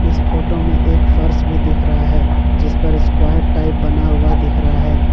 इस फोटो में एक फर्श भी दिख रहा है जिस पर स्क्वायर टाइप बना हुआ दिख रहा है।